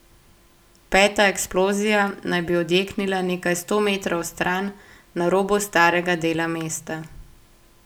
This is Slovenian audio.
Peta eksplozija naj bi odjeknila nekaj sto metrov stran, na robu starega dela mesta.